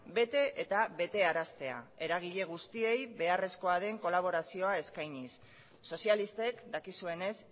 bete eta betearaztea eragile guztiei beharrezko den kolaborazioa eskainiz sozialistek dakizuenez